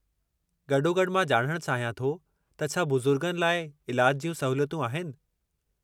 गॾोगॾु, मां ॼाणणु चाहियो थे त छा बुज़ुर्गनि लाइ इलाज जियूं सहूलियतूं आहिनि।